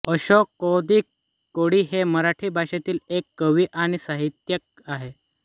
अशोक कौतिक कोळी हे मराठी भाषेतील एक कवी आणि साहित्यिक आहेत